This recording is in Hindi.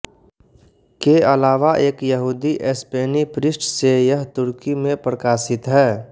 के अलावा एक यहूदी स्पेनी पृष्ठ से यह तुर्की में प्रकाशित है